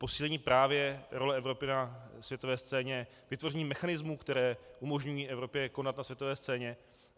Posílení právě role Evropy na světové scéně, vytvoření mechanismů, které umožňují Evropě konat na světové scéně.